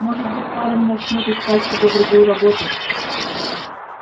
может быть парень начнёт искать себе другую работу